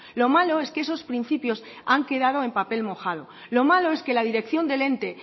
lo malo es que esos principios han quedado en papel mojado lo malo es que la dirección del ente